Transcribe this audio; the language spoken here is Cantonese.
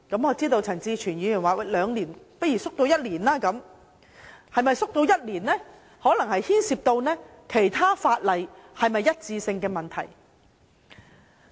我知道陳志全議員建議把兩年縮短為一年，這就可能牽涉到與其他法例的一致性的問題。